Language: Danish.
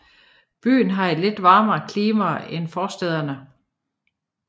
Byen har et lidt varmere klima end forstæderne